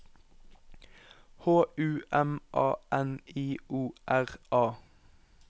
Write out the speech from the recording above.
H U M A N I O R A